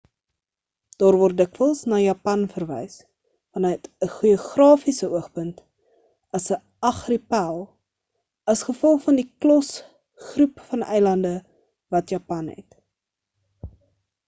daar word dikwels na japan verwys vanuit ‘n geografiese oogpunt as ‘n argipel” as gevolg van die klos/groep van eilande wat japan het